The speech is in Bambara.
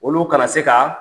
Olu kana se ka